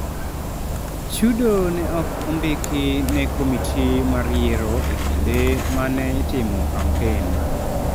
Chudo ne ok ondiki ne komiti mar yiero e kinde ma ne itimo kampen.